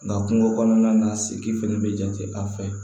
Nga kungo kɔnɔna na sigi fɛnɛ be jate an fɛ